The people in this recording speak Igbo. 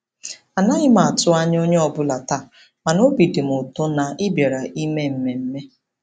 Anaghị m atụ anya onye ọbụla taa, mana obi dị m ụtọ na ị bịara ime mmemme.